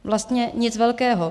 Vlastně nic velkého.